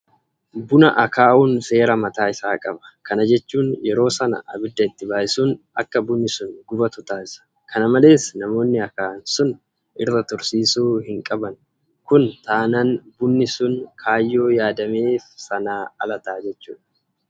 Buna akaa'uun seera mataa isaa qaba. Kana jechuun yeroo sana abidda itti baay'isuun akka bunni sun gubatu taasisa. Kana malees namoonni akaa'an sun irra tursiisuu hinqaban kun taanaan bunni sun kaayyoo yaadameef sanaa ala ta'a.